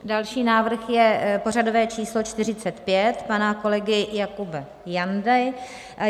Další návrh je pořadové číslo 45 pana kolegy Jakuba Jandy.